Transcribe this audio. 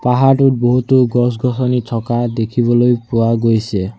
পাহাৰটোত বহুতো গছ-গছনি থকা দেখিবলৈ পোৱা গৈছে।